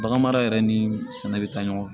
Baganmara yɛrɛ ni sɛnɛ bɛ taa ɲɔgɔn